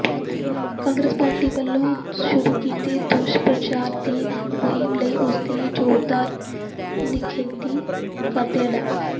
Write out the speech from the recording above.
Congress party ਵੱਲੋਂ ਸ਼ੁਰੂ ਕੀਤੇ ਦੁਸ਼ਪ੍ਰਚਾਰ ਦੀ ਮੁਹਿੰਮ ਲਈ ਉਸਦੀ ਜ਼ੋਰਦਾਰ ਨਿਖੇਧੀ ਕਰਦਿਆਂ ਡਾ